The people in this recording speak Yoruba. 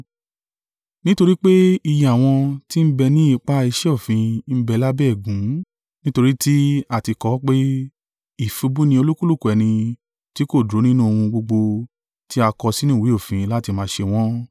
Nítorí pé iye àwọn tí ń bẹ ni ipa iṣẹ́ òfin ń bẹ lábẹ́ ègún: nítorí tí a tí kọ ọ́ pé, “Ìfibú ni olúkúlùkù ẹni tí kò dúró nínú ohun gbogbo tí a kọ sínú ìwé òfin láti máa ṣe wọ́n”.